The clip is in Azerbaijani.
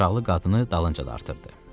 Əl uşaqlı qadını dalınca dartırdı.